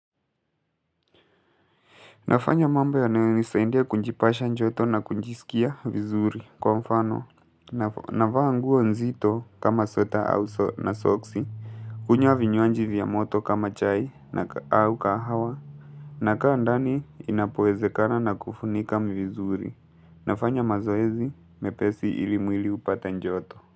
Nafanya mambo ya nae nisaindia kunjipasha njoto na kunjisikia vizuri. Kwa mfano, navaa nguo nzito kama sota na soksi. Kunyo avinyoanji vya moto kama chai au kahawa. Na kaa ndani inapowezekana na kufunika vizuri. Nafanya mazoezi mepesi ili mwili hupate joto.